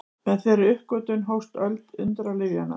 Með þeirri uppgötvun hófst öld undralyfjanna.